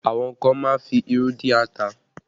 Àwọn kan má ń fi irú dín ata